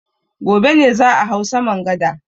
Gobe ne za a hau saman gada.